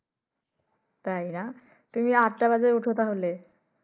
তাই না। তুমি আট টা বাজে উঠো তাহলে।